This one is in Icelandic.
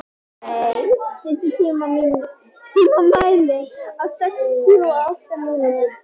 Daney, stilltu tímamælinn á sextíu og átta mínútur.